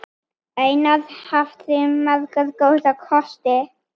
Einar hafði marga góða kosti.